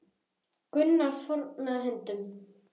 Gunnar fórnaði höndum.